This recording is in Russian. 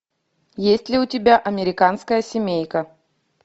есть ли у тебя американская семейка